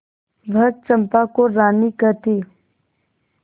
वह चंपा को रानी कहती